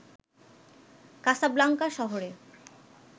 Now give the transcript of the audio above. Casablanca শহরে